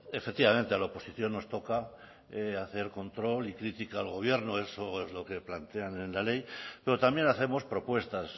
efectivamente a la oposición nos toca hacer control y crítica al gobierno eso es lo que plantean en la ley pero también hacemos propuestas